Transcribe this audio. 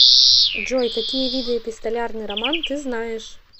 джой какие виды эпистолярный роман ты знаешь